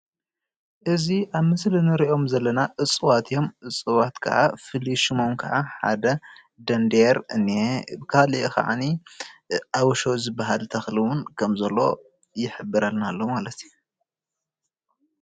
እዚ ኣብ ምስሊ እንሪኦም ዘለና እፅዋት እዮም እፅዋት ክዓ ፍሉይ ሽሞም ክዓ ሓደ ደንዴየር እኒሀ ካሊእ ክዓነይ ኣብሾ ዝብሃል ተክሊ እውን ከም ዘሎ ይሕብረልና ኣሎ፡፡